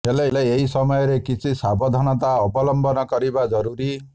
ହେଲେ ଏହି ସମୟରେ କିଛି ସାବଧନତା ଅବଲମ୍ବନ କରିବା ଜରୁରୀ